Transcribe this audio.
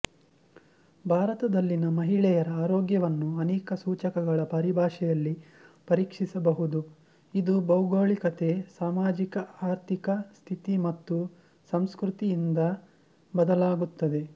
ಭಾರತದಲ್ಲಿನ ಮಹಿಳೆಯರ ಆರೋಗ್ಯವನ್ನು ಅನೇಕ ಸೂಚಕಗಳ ಪರಿಭಾಷೆಯಲ್ಲಿ ಪರೀಕ್ಷಿಸಬಹುದುಇದು ಭೌಗೋಳಿಕತೆ ಸಾಮಾಜಿಕ ಆರ್ಥಿಕ ಸ್ಥಿತಿ ಮತ್ತು ಸಂಸ್ಕೃತಿಯಿಂದ ಬದಲಾಗುತ್ತದೆ